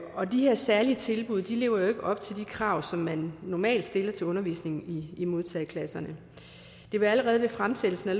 særlige tilbud lever jo ikke op til de krav som man normalt stiller til undervisningen i modtageklasserne det var allerede ved fremsættelsen af